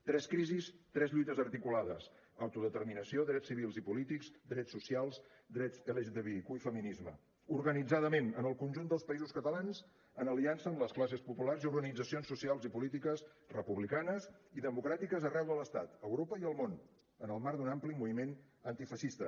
tres crisis tres lluites articulades autodeterminació drets civils i polítics drets socials drets lgtbiq i feminisme organitzadament en el conjunt del països catalans en aliança amb les classes populars i organitzacions socials i polítiques republicanes i democràtiques arreu de l’estat europa i el món en el marc d’un ampli moviment antifeixista